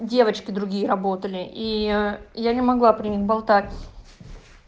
девочки другие работали и я не могла при них болтать